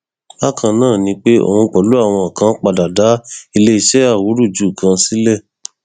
bákan náà ni pé òun pẹlú àwọn kan parọ dá iléeṣẹ awúrúju kan sílẹ